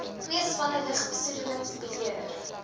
twee spanne lugbesoedelingsbeheer